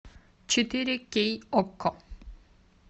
четыре кей окко